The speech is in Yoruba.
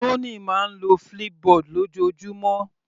Tony máa ń lo Flipboard lójoojúmọ́.